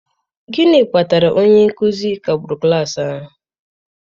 gịnị kpatara onye nkuzi kagburu klas ahụ?